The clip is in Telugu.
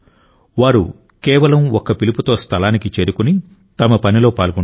వారు కేవలం ఒక్క పిలుపుతో స్థలానికి చేరుకుని తమ పనిలో పాల్గొంటారు